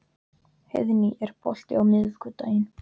Heiðný, er bolti á miðvikudaginn?